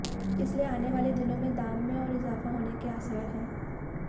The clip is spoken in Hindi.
इसलिए आने वाले दिनों में दाम में और इजाफा होने के आसार हैं